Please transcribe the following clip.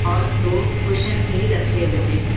और दो कुशन भी रखे हुए हैं।